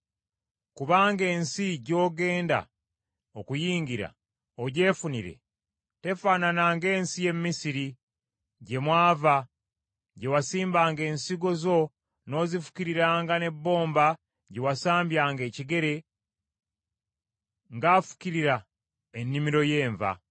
Kubanga ensi gy’ogenda okuyingira, ogyefunire, tefaanaana ng’ensi y’e Misiri, gye mwava, gye wasimbanga ensigo zo n’ozifukiriranga n’ebbomba gye wasambyanga ekigere, ng’afukirira ennimiro y’enva.